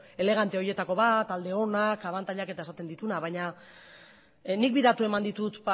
elegante horietako bat alde onak abantailak eta esaten dituenak baina nik bi datu eman ditut